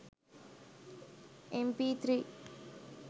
mp3